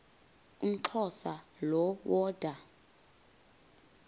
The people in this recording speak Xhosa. umxhosa lo woda